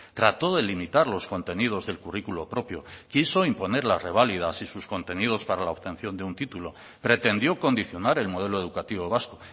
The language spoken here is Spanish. trató de limitar los contenidos del currículo propio quiso imponer las reválidas y sus contenidos para la obtención de un título pretendió condicionar el modelo educativo vasco